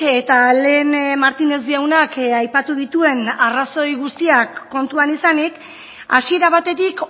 eta lehen martínez jaunak aipatu dituen arrazoi guztiak kontuan izanik hasiera batetik